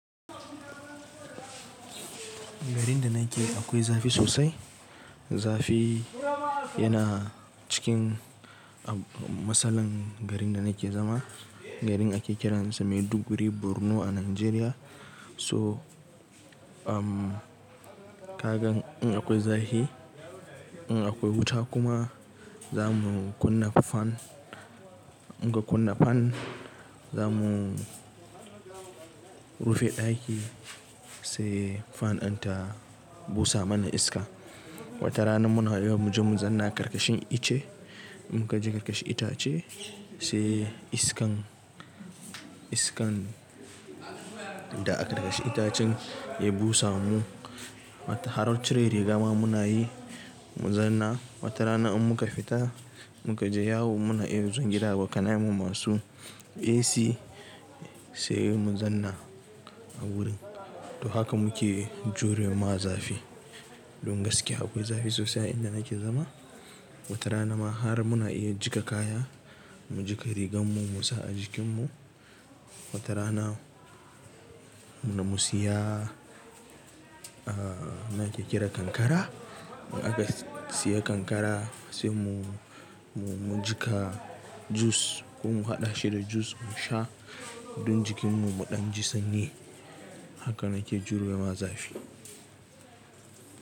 Garin da nake akwai zafi sosai. Zafi yana cikin, a masalan garin da nake zama, garin ake kiransa Maiduguri Borno a Najeriya. To, um, ka gan in akwai zahi, in akwai wuta kuma, za mu kunna fan. In ka kunna fan, za mu, rufe ɗaki, sai fan in ta busa mana iska. Wata rana muna iya muje mu zanna ƙarƙashin ice. In muka je karkashin itace, sai iskan, iskan da a ƙarƙashin itacen ya busa mu. Wato har cire riga ma muna yi mu zanna. Wata rana in muka fita, muka je yawo muna iya mun zo gidan abokanan mu masu AC sai mun zanna a wurin. To haka muke jure mawa zafi. Don gaskiya akwai zafi sosai a inda nake zama, Wata rana ma har muna iya jiƙa kaya, mu jiƙa rigar mu mu sa a jikin mu. Wata rana muna, mu siya, a, nake kiran ƙanƙara. In aka siya ƙanƙara, sai mu, mu jiƙa jus ko mu haɗa shi da jus mu sha don jikin mu muɗan ji sanyi. Haka nake jurewa zafi.